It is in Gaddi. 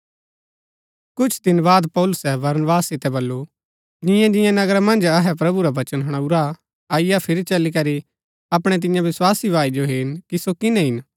कुछ दिन बाद पौलुसै बरनबास सितै बल्लू जिंआं जिंआं नगरा मन्ज अहै प्रभु रा वचन हणाऊरा अईआ फिरी चली करी अपणै तियां विस्वासी भाई जो हेरन कि सो किनै हिन